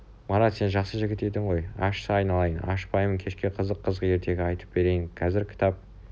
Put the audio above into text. марат сен жақсы жігіт едің ғой ашшы айналайын ашпаймын кешке қызық-қызық ертегі айтып берейін қазір кітап